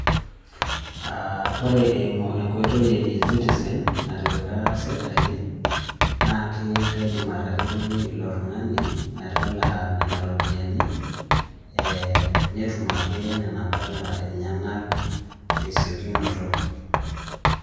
Aa ore eimu enkoitoi e eCitizen natipika sirkali naa kaidim ataretoki ilo tuung'ani metalaa nena ropiyiani ee netum ake nena pala enyenak tesiokinoto.